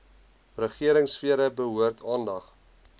regeringsfere behoort aandag